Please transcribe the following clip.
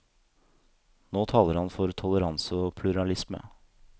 Nå taler han for toleranse og pluralisme.